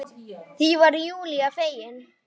Því var Júlía fegin.